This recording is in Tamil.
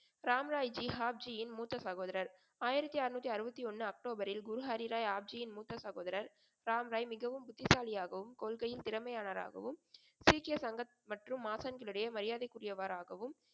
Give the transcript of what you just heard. ராமராய்ஜி ஆப்ஜியின் மூத்த சகோதரர். ஆயிரத்தி அறுநூத்தி அறுபத்தி ஒன்னு அக்டோபரில் குரு ஹரிராய் ஆப்ஜியின் மூத்த சகோதரர் ராம்ராய் மிகவும் புத்திசாலியாகவும், கொள்கையும் திறமையாளராகவும் சீக்கிய சங்கத் மற்றும் ஆசான்களிடையே மரியாதைக்குறியவராகவும்,